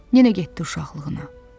Yenə getdi uşaqlığına.